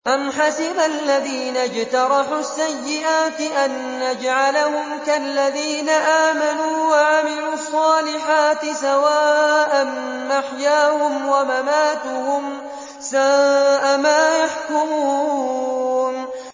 أَمْ حَسِبَ الَّذِينَ اجْتَرَحُوا السَّيِّئَاتِ أَن نَّجْعَلَهُمْ كَالَّذِينَ آمَنُوا وَعَمِلُوا الصَّالِحَاتِ سَوَاءً مَّحْيَاهُمْ وَمَمَاتُهُمْ ۚ سَاءَ مَا يَحْكُمُونَ